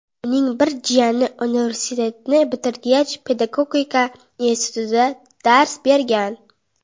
Uning bir jiyani universitetni bitirgach, Pedagogika institutida dars bergan.